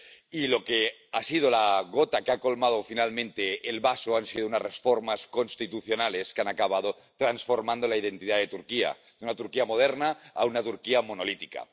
Y lo que ha sido la gota que ha colmado finalmente el vaso han sido unas reformas constitucionales que han acabado transformando la identidad de Turquía de una Turquía moderna a una Turquía monolítica.